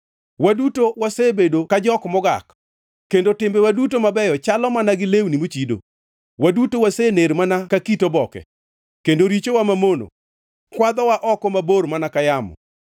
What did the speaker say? Waduto wasebedo ka jok mogak, kendo timbewa duto mabeyo chalo mana gi lewni mochido; waduto wasener mana ka it oboke, kendo richowa mamono kwadhowa oko mabor mana ka yamo.